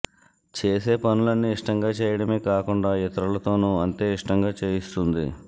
చేసే పనులన్నీ ఇష్టంగా చేయటమే కాకుండా ఇతరులతోనూ అంతే ఇష్టంగా చేయిస్తుంది